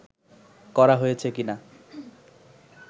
করা হয়েছে কিনা